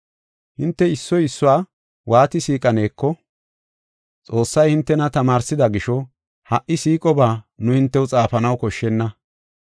Hinte issoy issuwa waati siiqaneko Xoossay hintena tamaarsida gisho, ha77i siiqoba nu hintew xaafanaw koshshenna.